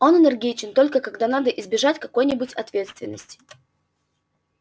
он энергичен только когда надо избежать какой-нибудь ответственности